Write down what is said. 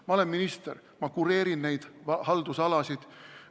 Ma olen minister, ma kureerin neid haldusalasid.